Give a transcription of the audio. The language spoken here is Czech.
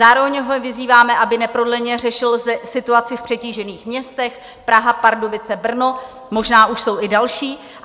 Zároveň ho vyzýváme, aby neprodleně řešil situaci v přetížených městech - Praha, Pardubice, Brno, možná už jsou i další.